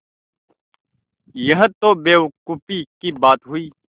यह तो बेवकूफ़ी की बात हुई